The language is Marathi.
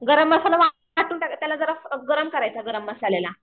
गरम मसाला त्याला जरा गरम करायचा गरम मसाल्याला.